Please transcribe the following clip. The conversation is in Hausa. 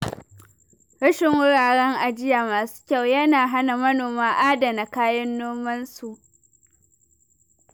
Rashin wuraren ajiya masu kyau yana hana manoma adana kayan nomansu.